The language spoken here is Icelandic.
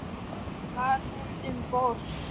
Var hann um borð?